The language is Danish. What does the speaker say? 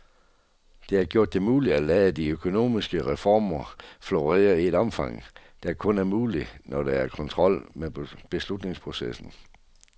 Det har gjort det muligt at lade de økonomiske reformer florere i et omfang, der kun er muligt, når der er kontrol med beslutningsprocesserne.